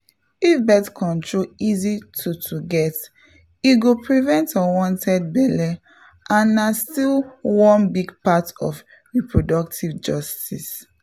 if birth control easy to to get e go prevent unwanted belle and na still one big part of reproductive justice.